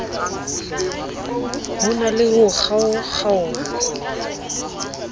ho na le ho kgaokgaoha